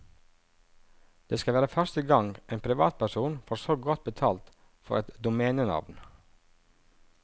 Det skal være første gang en privatperson får så godt betalt for et domenenavn.